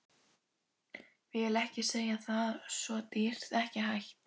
Vill ekki segja það, svo dýrt, ekki hægt.